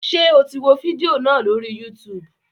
Ṣe o tí wò fídíò náà lórí YouTube